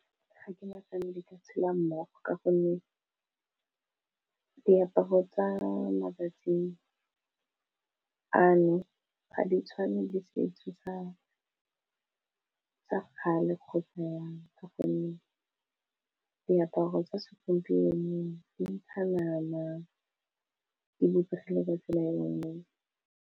Ga ke nagane di ka tshela mmogo ka gonne diaparo tsa matsatsi ano ga di tshwane le setso sa kgale kgotsa ka gonne diaparo tsa segompieno di ntsha nama di bopegile ka tsela engwe.